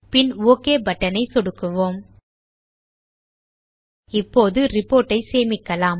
பின் OK button மீது சொடுக்குவோம் இப்போது ரிப்போர்ட் ஐ சேமிக்கலாம்